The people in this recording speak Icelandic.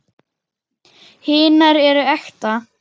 Hinar eru ekta.